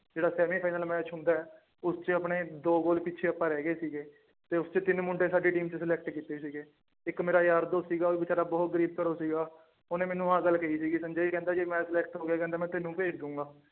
ਜਿਹੜਾ semi final match ਹੁੰਦਾ ਹੈ ਉਸ ਚ ਆਪਣੇ ਦੋ ਗੋਲ ਪਿੱਛੇ ਆਪਾਂ ਰਹਿ ਗਏ ਸੀਗੇ ਤੇ ਉਸ ਚ ਤਿੰਨ ਮੁੰਡੇ ਸਾਡੀ team ਚ select ਕੀਤੇ ਸੀਗੇ ਇੱਕ ਮੇਰਾ ਯਾਰ ਦੋਸਤ ਸੀਗਾ ਉਹ ਬੇਚਾਰਾ ਬਹੁਤ ਗ਼ਰੀਬ ਘਰੋਂ ਸੀਗਾ ਉਹਨੇ ਮੈਨੂੰ ਆਹ ਗੱਲ ਕਹੀ ਸੀਗੀ ਸੰਜੇ ਕਹਿੰਦਾ ਜੇ ਮੈਂ select ਹੋ ਗਿਆ ਕਹਿੰਦਾ ਮੈਂ ਤੈਨੂੰ ਭੇਜ ਦਊਂਗਾ।